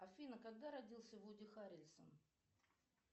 афина когда родился вуди харрельсон